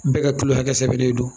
Bɛɛ ka kilo hakɛ don